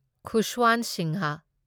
Khushwant Singh